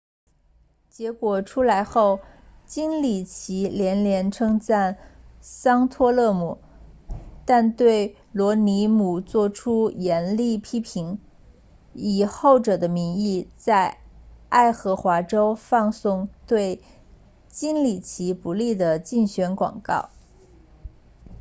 结果出来后金里奇连连称赞桑托勒姆但对罗姆尼做出严厉批评以后者的名义在爱荷华州放送对金里奇不利的竞选广告